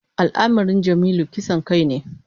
Al’amarin Jamilu kisan kai ne.